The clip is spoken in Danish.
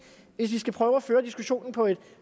vil vi skal prøve at føre diskussionen på et